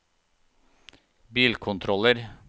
bilkontroller